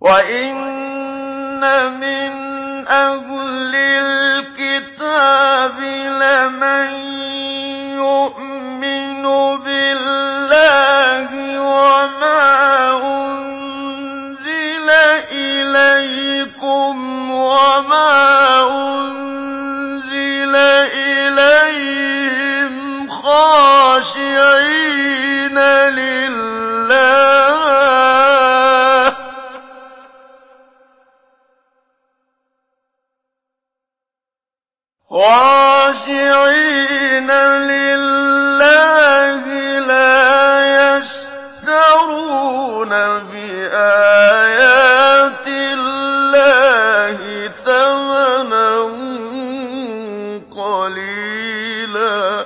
وَإِنَّ مِنْ أَهْلِ الْكِتَابِ لَمَن يُؤْمِنُ بِاللَّهِ وَمَا أُنزِلَ إِلَيْكُمْ وَمَا أُنزِلَ إِلَيْهِمْ خَاشِعِينَ لِلَّهِ لَا يَشْتَرُونَ بِآيَاتِ اللَّهِ ثَمَنًا قَلِيلًا ۗ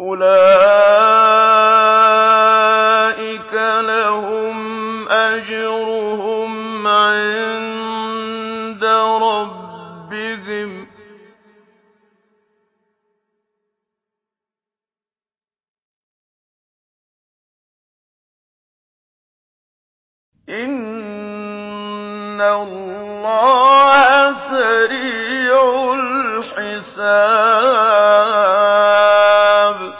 أُولَٰئِكَ لَهُمْ أَجْرُهُمْ عِندَ رَبِّهِمْ ۗ إِنَّ اللَّهَ سَرِيعُ الْحِسَابِ